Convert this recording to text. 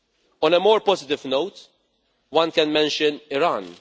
On a more positive note, one can mention Iran.